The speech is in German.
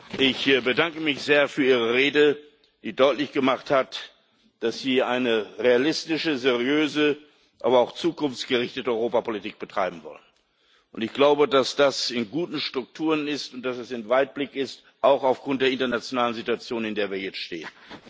Herr Präsident! Herr Ministerpräsident, ich bedanke mich sehr für Ihre Rede, die deutlich gemacht hat, dass Sie eine realistische, seriöse, aber auch zukunftsgerichtete Europapolitik betreiben wollen. Und ich glaube, dass das in guten Strukturen ist und dass es weitblickend ist, auch aufgrund der internationalen Situation, in der wir jetzt stehen.